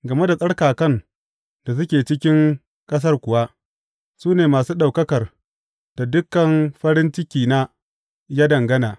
Game da tsarkakan da suke cikin ƙasar kuwa, su ne masu ɗaukakar da dukan farin cikina ya dangana.